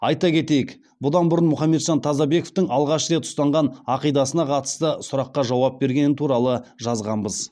айта кетейік бұдан бұрын мұхамеджан тазабековтің алғаш рет ұстанған ақидасына қатысты сұраққа жауап бергені туралы жазғанбыз